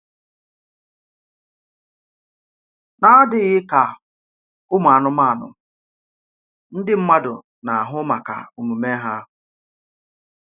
N’àdịghị ka ụmụ anụmanụ, ndị mmádụ na-àhụ maka omume hà.